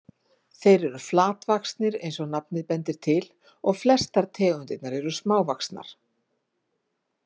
Þeir eru flatvaxnir eins og nafnið bendir til og flestar tegundirnar eru smávaxnar.